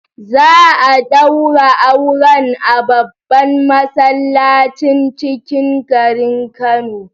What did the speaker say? Za'a daura auren a babban masallacin cikin gari Kano